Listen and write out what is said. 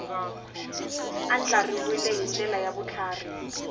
andlariwile hi ndlela ya vutlhari